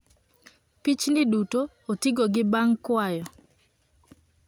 Pichni duto otigo gi bang kwayo